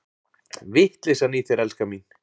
Vitleysan í þér, elskan mín!